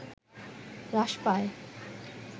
হ্রাস পায়